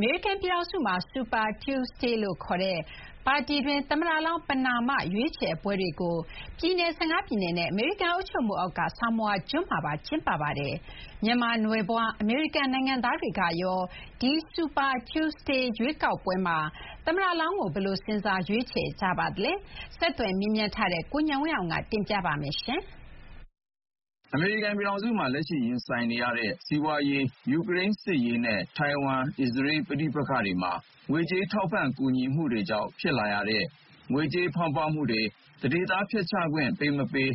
မေရိကန်ပြည်ထောင်စုမှာ Super Tuesday လို့ခေါ်တဲ့ ပါတီတွင်း သမ္မတလောင်း ပဏာမ ရွေးချယ်ပွဲတွေကို ပြည်နယ် ၁၅ ပြည်နယ်နဲ့ အမေရိကန် အုပ်ချုပ်မှုအောက်က Samoa ကျွန်းမှာပါ ကျင်းပါတယ်။ မြန်မာနွယ်ဖွား အမေရိကန်နိုင်ငံသားတွေကရော ဒီ Super Tuesday ရွေးကောက်ပွဲမှာ သမ္မတလောင်းကို ဘယ်လို စဉ်းစား ရွေးချယ်ကြပါသလဲ။ ဆက်သွယ်မေးမြန်းထားတဲ့ ကိုဉာဏ်ဝင်းအောင်က တင်ပြပါမယ်။ အမေရိကန်ပြည်ထောင်စုမှာ လက်ရှိရင်ဆိုင်နေရတဲ့ စီးပွါးရေး၊ ယူကရိန်းစစ်ရေးနဲ့ ထိုင်ဝမ်၊ အစ္စရေး ပဋိပက္ခတွေမှာ ငွေကြေးထောက်ပံ့ကူညီမှုတွေကြောင့် ဖြစ်လာရတဲ့ ငွေကြေးဖောင်းပွမှုတွေ၊ သန္ဓေသားဖျက်ချခွင့်ပေးမပေး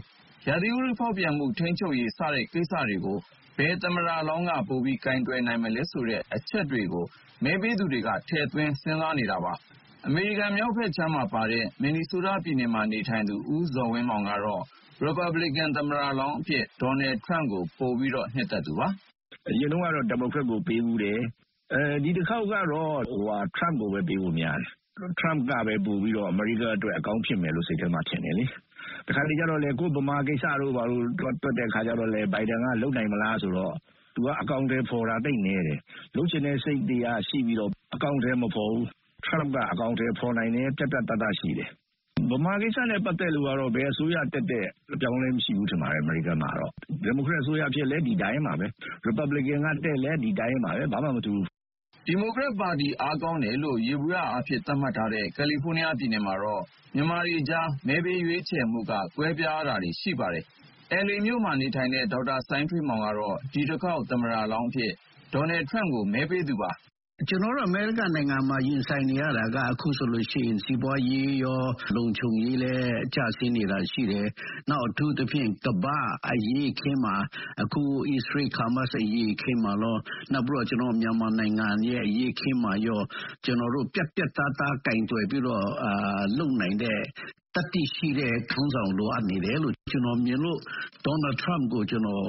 ၊ ရာသီဥတုဖောက်ပြန်မှုထိန်းချုပ်ရေး-စတဲ့ကိစ္စတွေကို ဘယ်သမ္မတလောင်းက ပိုပြီး ကိုင်တွယ်နိုင်မလဲဆိုတဲ့အချက်တွေကို မဲပေးသူတွေက ထည့်သွင်းစဉ်းစားနေတာပါ။ အမေရိကန်မြောက်ဘက်ခြမ်းမှာပါတဲ့ မင်နီဆိုးတားပြည်နယ်မှာနေထိုင်သူ ဦးဇော်ဝင်းမောင်ကတော့ ရီပတ်ဘလီကန်သမ္မတလောင်းအဖြစ် ဒေါ်နယ်ထရမ့်ကို ပိုပြီးတော့ နှစ်သက်သူပါ။ "အရင်တုန်းကတော့ ဒီမိုကရက်ကိုပေးဖူးတယ်။ ဒီတခေါက်ကတော့ ထရမ့်ကိုပဲ ပေးဖို့များတယ်။ ထရမ့်ကပဲပိုပြီးတော့ အမေရိကားအတွက် အကောင်းဖြစ်မယ်လို့ စိတ်ထဲမှာထင်တယ်လေ။ တခါတလေကျတော့လည်း ကိုယ့်ဗမာကိစ္စတို့ ဘာတို့ တွက်တဲ့အခါကျတော့လည်း ဘိုင်ဒန်က လုပ်နိုင်မလား-ဆိုတော့ သူက အကောင်အထည်ဖော်တာ သိပ်နည်းတယ်။ လုပ်ချင်တဲ့စိတ်တွေကရှိပြီးတော့ အကောင်အထည်မဖော်ဘူး။ ထရမ့်က အကောင်အထည်ဖော်နိုင်တယ်။ ပြတ်ပြတ်သားသားရှိတယ်။ ဗမာကိစ္စနဲ့ပတ်သက်လို့ကတော့ ဘယ်အစိုးရတက်တက် အပြောင်းအလဲ မရှိဘူးထင်ပါတယ်၊ အမေရိကားမှာ။ ဒီမိုကရက်တစ်အစိုးရဖြစ်လည်း ဒီအတိုင်းပါပဲ။ရီပတ်ဘလင်ကန်ကတက်လည်း ဒီအတိုင်းပါပဲ၊ ဘာမှမထူးဘူး။" ဒီမိုကရက်ပါတီအားကောင်းတယ်လို့ ယေဘုယျအားဖြင့် သတ်မှတ်ထားတဲ့ကယ်လီဖိုးနီးယားပြည်နယ်မှာတော့ မြန်မာတွေကြား မဲပေးရွေးချယ်မှုက ကွဲပြားတာတွေ ရှိပါတယ်။ LA မြို့မှာနေထိုင်တဲ့ ဒေါက်တာစိုင်းထွေးမောင်ကတော့ ဒီတခေါက် သမ္မတလောင်းအဖြစ် ဒေါ်နယ်ထရမ့်ကို မဲပေးသူပါ။ "ကျနော်ကတော့ အမေရိကန်နိုင်ငံမှာရင်ဆိုင်နေရတာက အခုဆိုလို့ရှိရင် စီးပွါးရေးရော၊ လုံခြုံရေးလည်းကျဆင်းနေတာရှိတယ်။ နောက် အထူးသဖြင့် ကမ္ဘာ့အရေးအခင်းမှာ အခု အစ္စရေး-ဟာမတ်စ်အရေးအခင်းမှာရော၊ နောက်ပြီးတော့ ကျနော်တို့မြန်မာနိုင်ငံအရေးအခင်းမှာရော ပြတ်ပြတ်သားသားကိုင်တွယ်ပြီးတော့ လုပ်နိုင်တဲ့၊ သတ္တိရှိတဲ့ခေါင်းဆောင်လိုအပ်နေတယ်လို့ ကျနော်မြင်လို့ ဒေါ်နယ်ထရမ့်ကို ကျနော်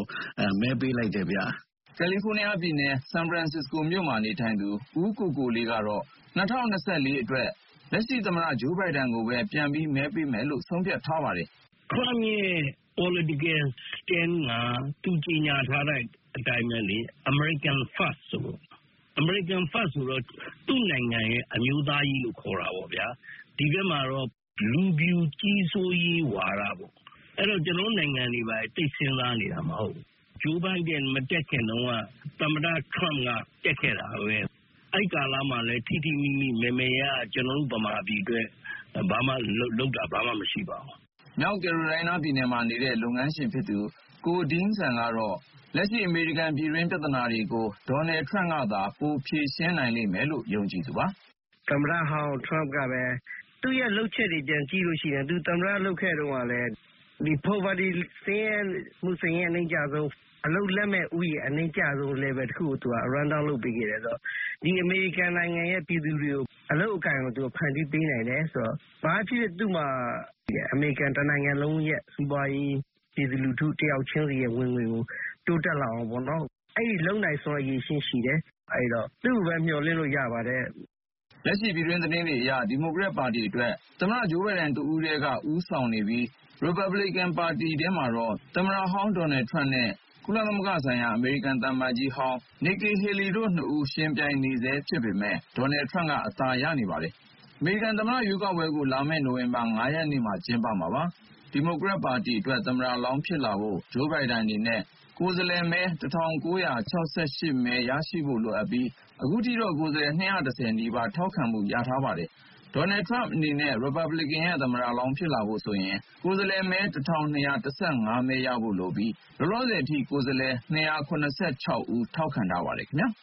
မဲပေးလိုက်တယ်ဗျ။" ကယ်လီဖိုးနီးယားပြည်နယ်၊ ဆန်ဖရန်စ္စစကိုမြို့မှာနေထိုင်သူ ဦးကိုကိုလေးကတော့ ၂၀၂၄ အတွက် လက်ရှိသမ္မတဂျိုးဘိုင်ဒန်ကိုပဲပြန်ပြီး မဲပေးမယ်လို့ ဆုံးဖြတ်ထားပါတယ်။ "ထရမ့်ရဲ့ political stand က သူကြေညာထားတဲ့အတိုင်းပဲလေ။ American first ဆိုတာ။ အမေရိကန် first ဆိုတော့ သူ့နိုင်ငံရဲ့အမျိုးသားရေးကိုခေါ်တာပေါ့ဗျာ။ ဒီဘက်မှာတော့ လူဖြူကြီးစိုးရေးဝါဒ-ပေါ့။ အဲဒီတော့ ကျနော်တို့နိုင်ငံတွေ ဘာတွေ သိပ်စဥ်းစားနေတာမဟုတ်ဘူး။ ဂျိုးဘိုင်ဒန်မတက်ခင်တုန်းက သမ္မတထရမ့်က တက်ခဲ့တာပဲ။ အဲဒီကာလမှာလည်း ထိထိမိမိ မယ်မယ်ရရ ကျနော်တို့ဗမာပြည်အတွက် လုပ်တာ ဘာမှ မရှိပါဘူး။" မြောက်ကယ်ရိုလိုင်းနားပြည်နယ်မှာနေတဲ့ လုပ်ငန်းရှင် ကို ဒဲင်းဆန် ကတော့ လက်ရှိ အမေရိကန်ပြည်တွင်းပြဿနာတွေကို ဒေါ်နယ်ထရမ့်ကသာ ပိုဖြေရှင်းနိုင်လိမ့်မယ်လို့ ယုံကြည်သူပါ။ "သမ္မတဟောင်းထရမ့်ကလည်း သူ့ရဲ့လုပ်ချက်တွေ ပြန်ကြည့်လို့ရှိရင် သူသမ္မတလုပ်ခဲ့တုန်းကလည်း ဆင်းရဲသူအရေအတွက်အနိမ့်ကျဆုံး၊ အလုပ်လက်မဲ့ဦးရေအနိမ့်ကျဆုံး level တခုကိုသူက run-down လုပ်ပေးခဲ့တယ်ဆိုတော့ ဒီအမေရိကန်နိုင်ငံရဲ့ပြည်သူတွေကို အလုပ်အကိုင်ကို ဖန်တီးပေးနိုင်တယ်ဆိုတော့ ဘာပဲဖြစ်ဖြစ် သူ့မှာ အမေရိကန်တနိုင်ငံလုံးရဲ့စီးပွါးရေး၊ ပြည်သူလူထုတယောက်ချင်းစီရဲ့ဝင်ငွေကို တိုးတက်လာအောင်ပေါ့- အဲဒီလုပ်နိုင်စွမ်းအရည်အချင်းရှိတယ်။ အဲဒီတော့ သူ့ကိုပဲ မျှော်လင့်လို့ရပါတယ်။" လက်ရှိပြည်တွင်းသတင်းတွေအရ ဒီမိုကရက်ပါတီအတွက် သမ္မတဂျိုးဘိုင်ဒန်တဦးတည်းက ဦးဆောင်နေပြီး ရီပတ်ဘလီကင်ပါတီထဲမှာတော့ သမ္မတဟောင်း ဒေါ်နယ်ထရမ့်နဲ့ ကုလသမဂ္ဂဆိုင်ရာ အမေရိကန်သံအမတ်ကြီးဟောင်း နစ်ကီဟေလီတို့နှစ်ဦး ယှဥ်ပြိုင်နေဆဲဖြစ်ပေမဲ့ ဒေါ်နယ်ထရမ့်က အသာရနေပါတယ်။ အမေရိကန်သမ္မတရွေးကောက်ပွဲကို လာမဲ့နိုဝင်ဘာလ ၅ ရက်နေ့မှာ ကျင်းပမှာပါ။ ဒီမိုကရက်ပါတီအတွက် သမ္မတလောင်းဖြစ်လာဖို့ ဂျိုးဘိုင်ဒန်အနေနဲ့ ကိုယ်စားလှယ်မဲ ၁,၉၆၈ မဲ ရရှိဖို့လိုအပ်ပြီး အခုထိတော့ ကိုယ်စားလှယ်မဲ ၂၁၀ နီးပါး ထောက်ခံမှုရထားပါတယ်။ ဒေါ်နယ်ထရမ့်အနေနဲ့ ရီပတ်ဘလစ်ကန်ရဲ့သမ္မတလောင်းဖြစ်လာဖို့ဆိုရင် ကိုယ်စားလှယ်မဲ ၁,၂၁၅ မဲရဖို့လိုပြီး လောလောဆယ်အထိ ကိုယ်စားလှယ် ၂၇၆ ဦး ထောက်ခံထားပါတယ်ခင်ဗျာ